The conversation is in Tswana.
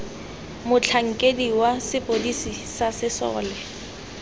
motlhankedi wa sepodisi sa sesole